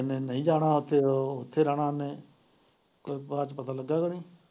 ਤੇ ਇੰਨੀ ਨਹੀਂ ਜਾਣਾ ਉੱਥੇ, ਇੱਥੇ ਰਹਿਣਾ ਇੰਨੇ ਪਤਾ ਲੱਗਾ ਕੁੱਝ।